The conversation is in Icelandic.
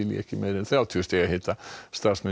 ekki meira en þrjátíu stiga hita starfsmenn